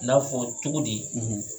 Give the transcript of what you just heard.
I n'a fɔ cogodi